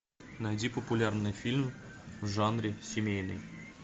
найди популярный фильм в жанре семейный